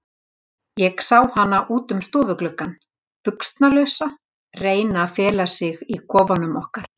Ég sá hana út um stofugluggann, buxnalausa, reyna að fela sig í kofanum okkar.